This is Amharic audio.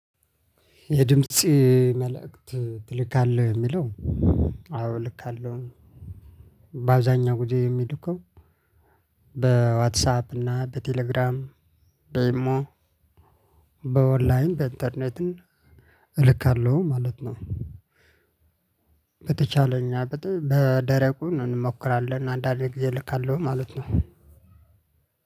የድምጽ መልእክት ትልካለህ የሚለው? አዎ እልካለሁኝ። ባብዛኛው ግዜ የምልከው። በዋትሳፕ እና በቴሌግራም በይሞ በኦንላይን በኢንተርኔትም እልካለሁ ማለት ነው። በተቻለኝ በደረቁ እንሞክራለን አንዳንዴ ጊዜ እልካለሁ ማለት ነው።